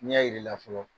N'i y'a yir'i la